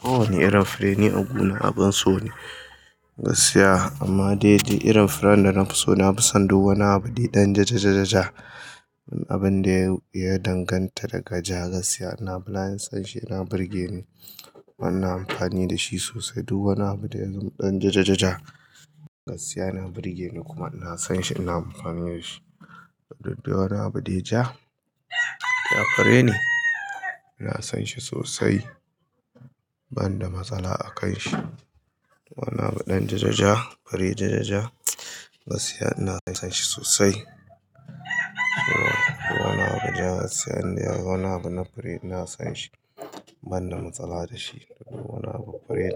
Kowane irin fure dai a gona abin so ne gaskiya, amma dai duk irin furen da nafi so, nafi son duk wani abu dai ɗan jajajaja. Abin da ya danganta daga ja gaskiya ina, nafi son shi, yana burge ni, kuma ina amfani da shi sosai, duk wani abu da ya min ɗan ja ja ja gaskiya yana burge ni, ina son shi kuma ina amfani da shi Dukka wanni abu dai ja: yana fure ne, ina son shi sosai, banda matsala a kan shi. Wane abu ɗan jajaja, fure jajaja gaskiya ina fa son shi sosai. Wani abu ja gaskiya ina so wani abu na fure ina son shi, banda matsala da shi. Duk wani abu fure